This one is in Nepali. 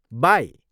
बाई!